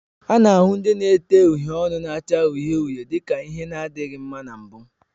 A na-ahụ ndị na-ete uhiè ọnụ na-acha uhie uhie dị ka ihe na-adịghị mma na mbụ